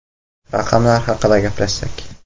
Raqamlar haqida gaplashsak.